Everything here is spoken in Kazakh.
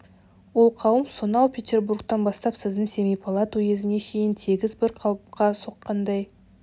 ол қауым сонау петербургтен бастап сіздің семипалат уезіне шейін тегіс бір қалыпқа соққандай